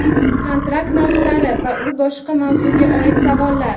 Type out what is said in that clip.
kontrakt narxlari va boshqa shu mavzuga oid savollar.